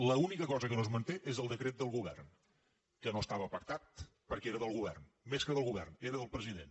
l’única cosa que no es manté és el decret del govern que no estava pactat perquè era del govern més que del govern era del president